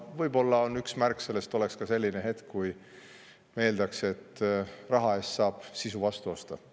Võib-olla üks märk sellest oleks selline hetk, kui eeldatakse, et raha eest saab sisu osta.